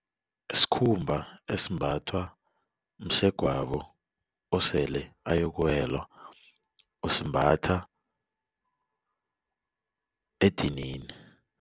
Sikhumba esimbathwa msegwabo osele ayokuwela usimbatha edinini.